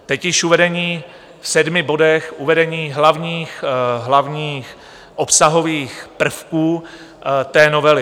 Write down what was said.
Teď již uvedení v sedmi bodech uvedení hlavních obsahových prvků té novely.